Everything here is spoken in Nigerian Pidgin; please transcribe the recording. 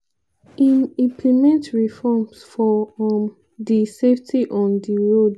im implement reforms for um di safety on di road.